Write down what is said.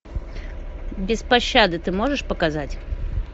без пощады ты можешь показать